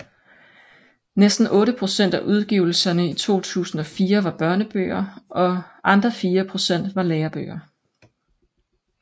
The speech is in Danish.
Næsten otte procent af udgivelserne i 2004 var børnebøger og andre fire procent var lærebøger